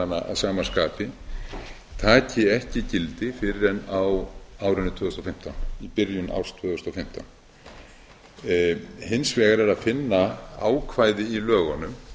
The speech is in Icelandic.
sýslumannsumdæmanna að sama skapi taki ekki gildi fyrr en í byrjun árs tvö þúsund og fimmtán hins vegar er að finna ákvæði í lögunum